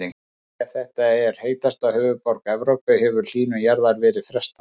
Ef þetta er heitasta höfuðborg Evrópu hefur hlýnun jarðar verið frestað.